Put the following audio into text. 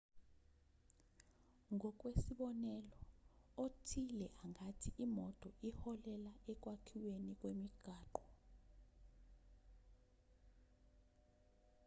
ngokwesibonelo othile angathi imoto iholela ekwakhiweni kwemigwaqo